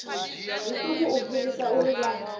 zwiṱuku u fhirisa uri vha